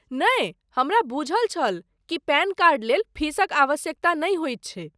नहि, हमरा बुझल छल कि पैन कार्ड लेल फीसक आवश्यकता नहि होयत छै।